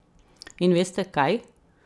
In veste, kaj?